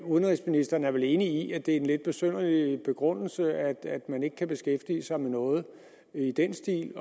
udenrigsministeren er vel enig i at det er en lidt besynderlig begrundelse at man ikke kan beskæftige sig med noget i den stil